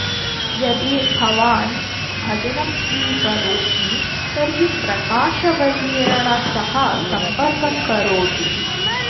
यदि भवान् भजनं स्वीकरोति तर्हि प्रकाशवर्येण सह सम्पर्कं करोतु